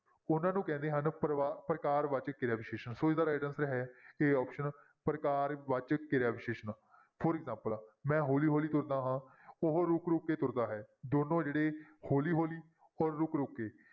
ਉਹਨਾਂ ਨੂੰ ਕਹਿੰਦੇ ਹਨ ਪਰਿਵਾ~ ਪ੍ਰਕਾਰ ਵਾਚਕ ਕਿਰਿਆ ਵਿਸ਼ੇਸ਼ਣ ਸੋ ਇਸਦਾ right answer ਹੈ a option ਪ੍ਰਕਾਰ ਵਾਚਕ ਕਿਰਿਆ ਵਿਸ਼ੇਸ਼ਣ for example ਮੈਂ ਹੌਲੀ ਹੌਲੀ ਤੁਰਦਾ ਹਾਂ ਉਹ ਰੁੱਕ ਰੁੱਕ ਕੇ ਤੁਰਦਾ ਹੈ, ਦੋਨੋਂ ਜਿਹੜੇ ਹੌਲੀ ਹੌਲੀ ਔਰ ਰੁੱਕ ਰੁੱਕ ਕੇ,